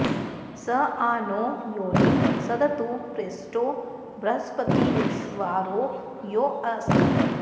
स आ नो॒ योनिं॑ सदतु॒ प्रेष्ठो॒ बृह॒स्पति॑र्वि॒श्ववा॑रो॒ यो अस्ति॑